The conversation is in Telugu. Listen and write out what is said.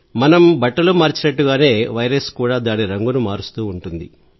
మనం బట్టలు మార్చినట్టుగానే వైరస్ కూడా దాని రంగును మారుస్తుంది